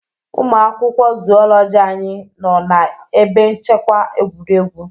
Ụmụ akwụkwọ Zoology anyị nọ na ebe nchekwa egwuregwu